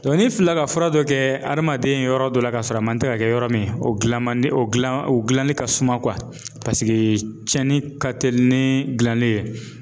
ni fila ka fura dɔ kɛ hadamaden yɔrɔ dɔ la ka sɔrɔ a man tɛ ka kɛ yɔrɔ min, o gilan man di o gilan o gilani ka suma .Paseke tiɲɛni ka telin ni gilanni ye.